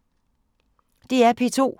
DR P2